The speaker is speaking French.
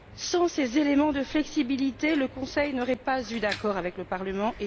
Sans ces éléments de flexibilité, le Conseil n'aurait pas obtenu d'accord avec le Parlement.